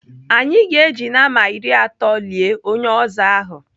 Anyị ga-eji nama iri atọ lie onye ọzọ ahụ.